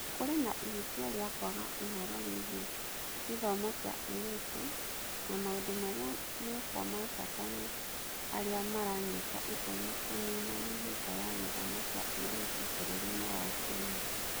Kũrĩ na ihĩtia rĩa kwaga ũhoro wĩgiĩ gĩthomo kĩa airĩtu; na maũndũ marĩa mekwo ma bata nĩ arĩa maranyita itemi kũniina mĩhĩnga ya gĩthomo kĩa airĩtu bũrũri-inĩ wa Kenya.